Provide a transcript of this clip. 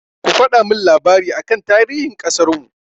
Ku faɗa min labari aka tarihin ƙasarmu!